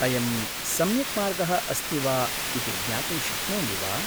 अयं सम्यक् मार्गः अस्ति वा इति ज्ञातुं शक्नोमि वा?